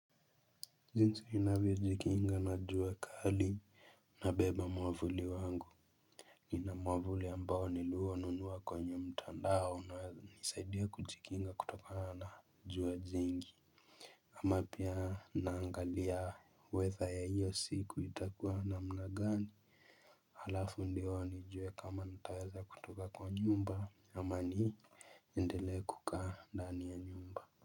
Jinsi ninavyo jikinga na jua kali nabeba mwavuli wangu. Nina mwavuli ambao nilio nunuwa kwenye mtandao na hunisaidia kujikinga kutokana na jua jingi. Ama pia naangalia weather ya hiyo siku itakuwa namna gani. Alafu ndio nijue kama nitaweza kutoka kwa nyumba ama niendele kukaa ndani ya nyumba.